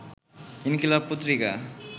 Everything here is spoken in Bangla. ইনকিলাব পত্রিকা